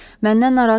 Məndən narahat olmayın.